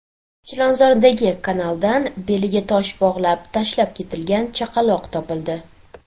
Chilonzordagi kanaldan beliga tosh bog‘lab tashlab ketilgan chaqaloq topildi.